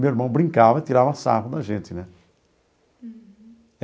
Meu irmão brincava e tirava sarro da gente né.